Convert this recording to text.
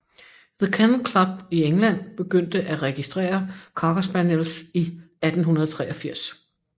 The Kennel Club i England begyndte at registrere Cocker Spaniels i 1883